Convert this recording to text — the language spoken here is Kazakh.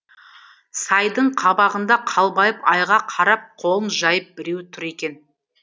сайдың қабағында қалбайып айға қарап қолын жайып біреу тұр екен